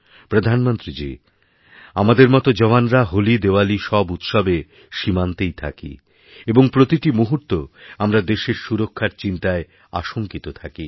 প্রধানমন্ত্রীজী আমাদের মতো জওয়ানরা হোলি দেওয়ালি সবউৎসবে সীমান্তেই থাকি এবং প্রতিটি মুহূর্ত আমরা দেশের সুরক্ষার চিন্তায় আশঙ্কিতথাকি